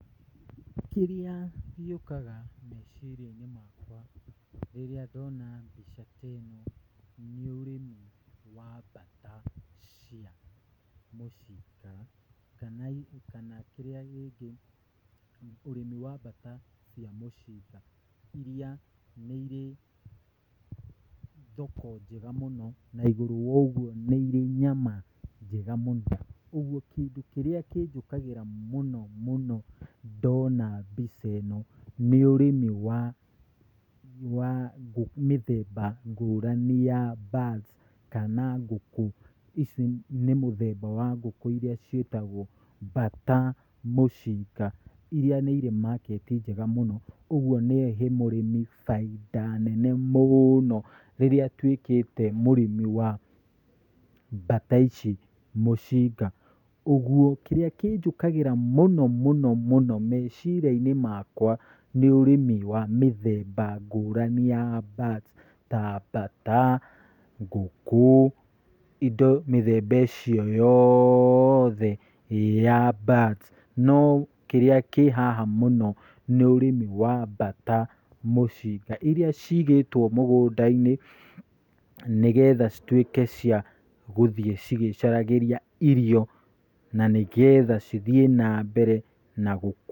Kĩrĩa gĩũkaga meciria-inĩ makwa rĩrĩa ndona mbica ĩno nĩ ũrĩmi wa mbata cia mũcinga, kana kĩrĩa kĩngĩ, ũrĩmi wa mbata mũcinga iria nĩ irĩ thoko njega mũno, na igũrũ wa ũguo nĩ irĩ nyama njega mũno, ũguo kĩndũ kĩrĩa kĩnjũkagĩra mũno mũno ndona mbica ĩno nĩ ũrĩmi wa mĩthemba ngũrani ya mbata kana ngũkũ. Ici nĩ mũthemba wa ngũkũ iria ciĩtagwo mbata mũcinga. Iria irĩ market njega mũno. Ũguo no ĩhe mũrĩmi baita nene mũno rĩrĩa atuĩkĩte mũrĩmi wa mbata ici mũcinga. Ũguo kĩrĩa kĩnjũkagĩra mũno mũno mũno meciria-inĩ makwa nĩ ũrĩmi ngũrani wa mĩthemba ngũrani ya mbata, tambata, ngũkũ, indo mĩthemba icio yoothe ya mbata. No kĩrĩa kĩhaha mũno nĩ ũrĩmi wa mbata mũcinga iria cigĩtwo mũgũnda-inĩ, nĩgetha cituĩke cia gũthiĩ cigĩcaragĩria irio na nĩgetha cithiĩ mambere na gũkũ.